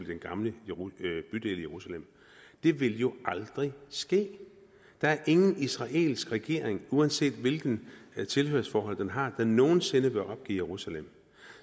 den gamle bydel i jerusalem det vil jo aldrig ske der er ingen israelsk regering uanset hvilket tilhørsforhold den har der nogen sinde vil opgive jerusalem